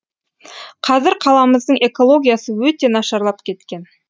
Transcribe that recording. қазір қаламыздың экологиясы өте нашарлап кеткен